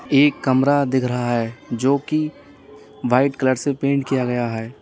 एक कमरा दिख रहा है जो की वाइट कलर से पेंट किया गया है।